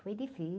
Foi difícil.